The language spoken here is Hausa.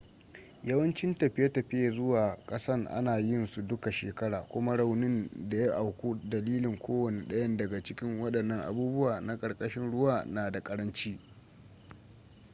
yawancin tafiye-tafiye zuwa kasan ana yin su duka shekara kuma raunin da ya auku dalilin kowane dayan daga cikin wadannan sabubba na karkashin ruwa na da karanci